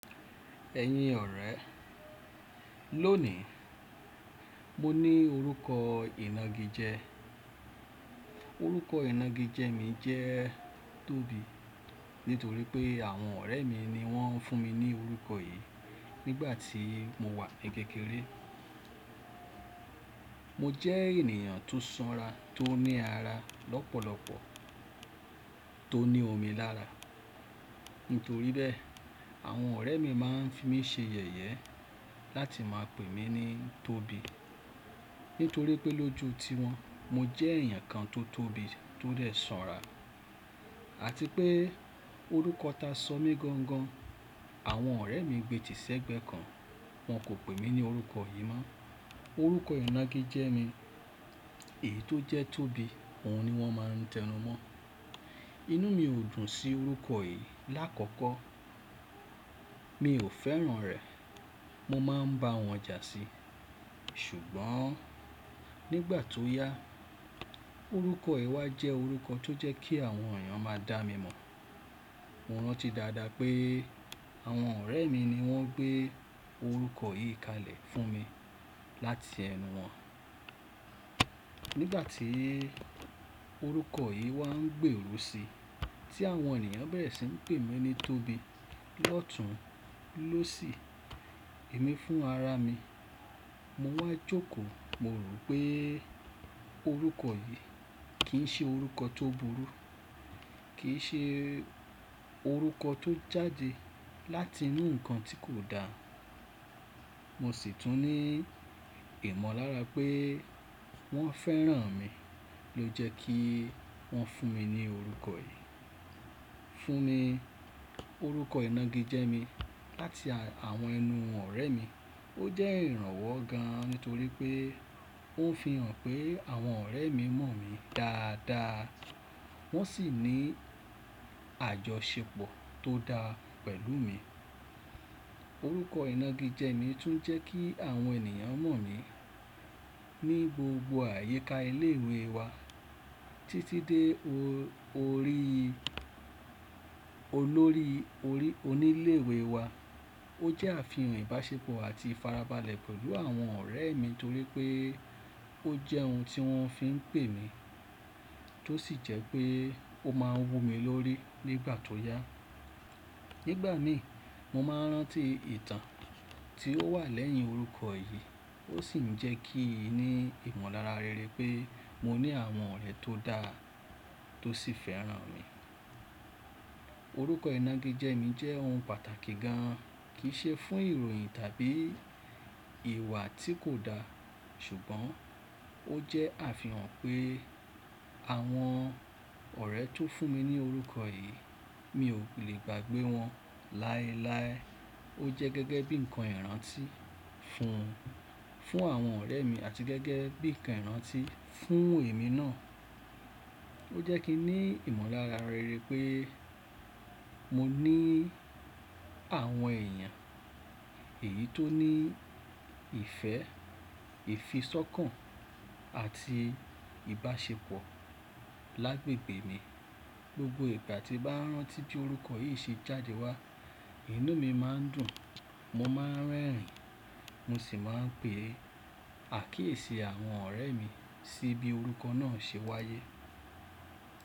Ẹ̀yin ọ̀rẹ́, lónìí mo ní orúkọ ìnagijẹ. Orúkọ ìnagijẹ mi jẹ́ Tobi, nítorí pé àwọn ọ̀rẹ́ mi ni wọ́n fún mi ní orúkọ yìí nígbà tí mo wà ní kékeré. Mo jẹ́ ènìyàn tó sanra, tó ní ara lọ́pọ̀lọpọ̀, tó ní omi lára. Nítorí bẹ́ẹ̀, àwọn ọ̀rẹ́ mi máa ń fi mí ṣe yẹ̀yẹ́ láti máa pè mí ní Tobi. Nítorí pé lójú tiwọn mo jẹ́ èèyàn kan tó tóbi, tó dẹ sanra àti pé orúkọ ta sọ mí gangan àwọn ọ̀rẹ́ mi gbé tì sẹ́gbẹ̀ẹ́ kan wọ́n kò pè mí ní orúkọ yìí mọ́. Orúkọ ìnagijẹ mi èyí tó jẹ́ Tobi, òun ni wọ́n máa ń tẹnu mọ́. Inú mi ò dùn sí orúkọ yìí lákọ̀ọ̀kọ́. Mi ò fẹ́ràn rẹ̀. Mo máa ń bá wọn jà sí i. Ṣùgbọ́n nígbà tó yá, orúkọ yi wà jẹ́ orúkọ tó jẹ́ kí àwọn èèyàn máa dá mi mọ̀. Mo rántí dáadáa pé àwọn ọ̀rẹ́ mi ni wọ́n gbé orúkọ yìí kalẹ̀ fún mi láti ẹnu wọn. Nígbà tí orúkọ yìí wá ń gbé rò si, tí àwọn ènìyàn bẹ̀rẹ̀ sí ń pè mí ní Tobi, lọ́tùn lósì, èmi fún ara mi, mo máa jókòó. Mo rò pé orúkọ yìí kì í ṣe orúkọ tó burú, kì í ṣe orúkọ tó jáde láti inú nǹkan tí kò da. Mo sì tún ní ìmọ̀lára pé wọ́n fẹ́ràn mi ló jẹ́ kí wọ́n fún mi ní orúkọ yìí. Fún mi, orúkọ ìnagijẹ mi láti àwọn ẹnu ọ̀rẹ́ mi ó jẹ́ ìrànwọ́ gan-an, nítorí pé ó ń fi hàn pé àwọn ọ̀rẹ́ mi mọ̀ mí dáadáa wọ́n sì ní àjọṣepọ̀ tó dáa pẹ̀lú mi. Orúkọ ìnagijẹ mi tún jẹ́ kí àwọn ènìyàn mọ̀ mí ní gbogbo àyíká ilé ìwé wa títí dé orí olórí onílé ìwé wa. Ó jẹ́ àfihàn ìbáṣepọ̀ àti ìfarabalẹ̀ pẹ̀lú àwọn ọ̀rẹ́ mi nítorí pé ó jẹ́ ohun tí wọ́n fi ń pè mí tó sì jẹ́ pé ó máa wó mi lórí nígbà tó yá. Nígbà mi mo máa ń rántí ìtàn tí ó wà lẹ́yìn orúkọ yìí ó sì ń jẹ́ kí n ní ìmọ̀lára rere pé mo ní àwọn ọ̀rẹ́ tó dáa tó sì fẹ́ràn mi. Orúkọ ìnagijẹ mi jẹ́ ohun pàtàkì gan, kì í ṣe fún ìròyìn tàbí ìwà tí kò da ṣùgbọ́n ó jẹ́ àfihàn pé àwọn ọ̀rẹ́ tó fún mi ní orúkọ yìí mi ò lè gbàgbé wọn láéláé. Ó jẹ́ gẹ́gẹ́ bí ǹkan ìrántí fún, fún àwọn ọ̀rẹ́ mi àti gẹ́gẹ́ bí ǹkan ìrántí fún èmi náà. Ó jẹ́ kí n ní ìmọ̀lára rere pé mo ní àwọn èèyàn èyí tó ní ìfẹ́, ìfisọ̀kan àti ìbáṣepọ̀ lágbègbè mi. Gbogbo ìgbà tí màá ń rántí bí orúkọ yìí ṣe jáde wá, inú mi má ń dùn, mo má ń rẹ́rìn-ín mo sì máa ń pè àkíyèsí àwọn ọ̀rẹ́ mi sí bí orúkọ náà ṣe wáyé.